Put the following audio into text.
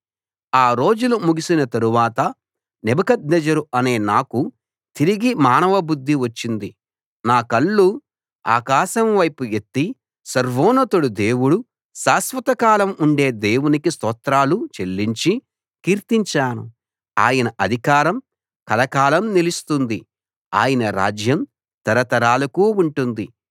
ఆ రోజులు ముగిసిన తరువాత నెబుకద్నెజరు అనే నాకు తిరిగి మానవ బుద్ధి వచ్చింది నా కళ్ళు ఆకాశం వైపు ఎత్తి సర్వోన్నతుడు దేవుడు శాశ్వత కాలం ఉండే దేవునికి స్తోత్రాలు చెల్లించి కీర్తించాను ఆయన అధికారం కలకాలం నిలుస్తుంది ఆయన రాజ్యం తరతరాలకు ఉంటుంది